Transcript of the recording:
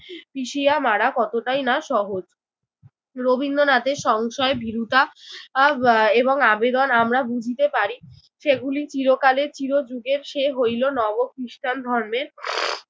পিষিয়া মারা কতটাই না সহজ। রবীন্দ্রনাথের সংশয়, ভীরুতা আহ এবং আবেদন আমরা বুঝিতে পারি। সেগুলি চিরকালের চিরযুগের সে হইল নব খ্রিস্টান ধর্মের